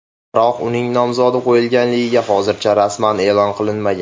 Biroq uning nomzodi qo‘yilganligi hozircha rasman e’lon qilinmagan.